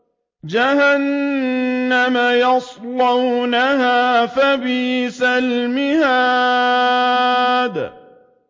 جَهَنَّمَ يَصْلَوْنَهَا فَبِئْسَ الْمِهَادُ